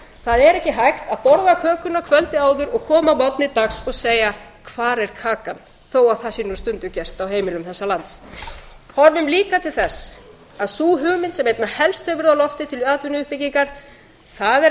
það er ekki hægt að borða kökuna kvöldið áður og koma að morgni dags og segja hvar er kakan þó að það sé nú stundum gert á heimilum þessa lands horfum líka til þess að sú hugmynd sem einna helst hefur verið á lofti til atvinnuuppbyggingar það er